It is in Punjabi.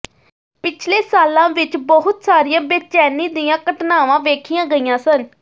ਪਿਛਲੇ ਸਾਲਾਂ ਵਿੱਚ ਬਹੁਤ ਸਾਰੀਆਂ ਬੇਚੈਨੀ ਦੀਆਂ ਘਟਨਾਵਾਂ ਵੇਖੀਆਂ ਗਈਆਂ ਸਨ